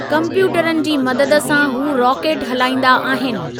कम्प्यूटरनि जी मदद सां हू रॉकेट हलाईंदा आहिनि।